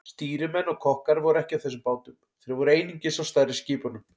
Stýrimenn og kokkar voru ekki á þessum bátum, þeir voru einungis á stærri skipunum.